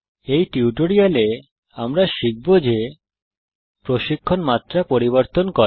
এই টিউটোরিয়ালে আমরা শিখব যে প্রশিক্ষণ মাত্রা পরিবর্তন করা